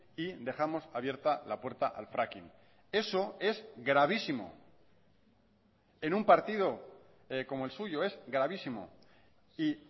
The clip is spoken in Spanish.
y dejamos abierta la puerta al fracking eso es gravísimo en un partido como el suyo es gravísimo y